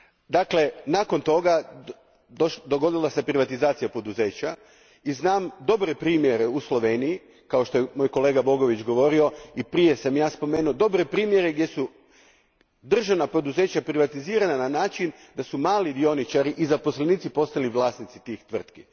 Dakle, nakon toga dogodila se privatizacija poduzeća i znam dobre primjere u Sloveniji, kao što je kolega Bogovič govorio, te koje sam ja spomenuo, u kojima su državna poduzeća privatizirana tako da su mali dioničari i zaposlenici postali vlasnici tih tvrtki.